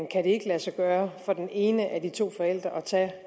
kan det ikke lade sig gøre for den ene af de to forældre at tage